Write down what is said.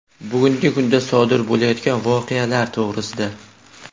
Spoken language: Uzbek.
Bugungi kunda sodir bo‘layotgan voqealar to‘g‘risida.